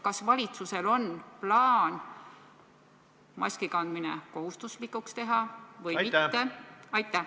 Kas valitsusel on plaan maski kandmine kohustuslikuks teha või mitte?